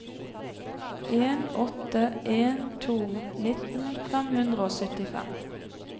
en åtte en to nitten fem hundre og syttifem